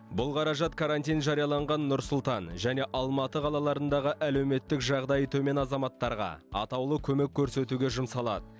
бұл қаражат карантин жарияланған нұр сұлтан және алматы қалаларындағы әлеуметтік жағдайы төмен азаматтарға атаулы көмек көрсетуге жұмсалады